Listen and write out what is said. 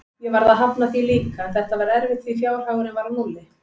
Ég varð að hafna því líka, en þetta var erfitt því fjárhagurinn var á núlli.